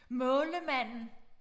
Maal-Manden